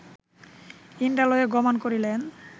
ইন্দ্রালয়ে গমন করিলেন